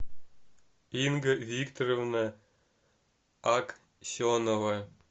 инга викторовна аксенова